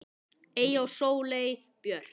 Eyja og Sóley Björk.